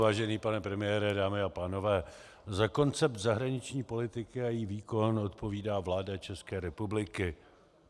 Vážený pane premiére, dámy a pánové, za koncept zahraniční politiky a její výkon odpovídá vláda České republiky.